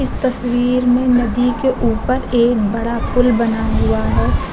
तस्वीर में नदी के ऊपर एक बड़ा पूल बना हुआ है।